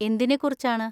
എന്തിനെ കുറിച്ചാണ്?